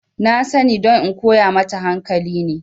Na sani don in koya mata hankali ne